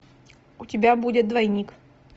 у тебя будет двойник